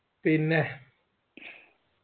പിന്നേഹ്